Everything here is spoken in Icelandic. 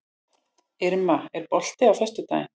Irma, er bolti á föstudaginn?